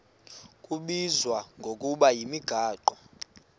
kubizwa ngokuba yimigaqo